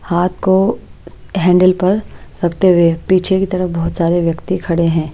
हाथ को हैंडल पर रखते हुए पीछे की तरफ बहुत सारे व्यक्ति खड़े हैं।